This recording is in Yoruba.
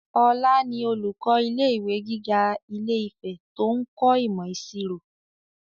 Ọlá ni olùkọ́ ilé ìwé gíga ilé-ìfẹ́ to ń kọ́ imo ìṣirò